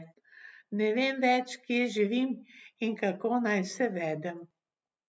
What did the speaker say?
Ne vem več, kje živim in kako naj se vedem.